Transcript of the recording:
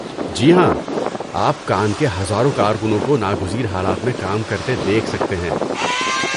جی ہاں، آپ کان کے ہزاروں کارکنوں کو ناگزیر حالات میں کام کرتے دیکھ سکتے ہیں۔